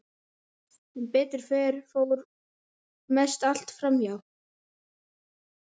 Sem betur fer fór mest allt fram hjá.